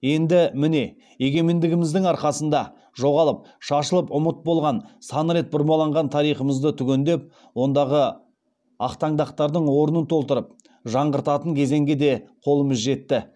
енді міне егемендігіміздің арқасында жоғалып шашылып ұмыт болған сан рет бұрмаланған тарихымызды түгендеп ондағы ақтаңдақтардың орнын толтырып жаңғыртатын кезеңге де қолымыз жетті